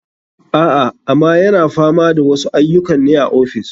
A, ama yana fama da wasu aiyukan ne a ofis.